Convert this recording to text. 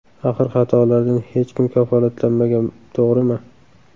Axir xatolardan hech kim kafolatlanmagan to‘g‘rimi?